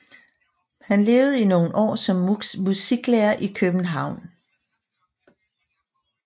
Han levede i nogle år som musiklærer i København